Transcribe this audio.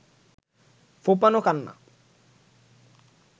ফোঁপানো কান্না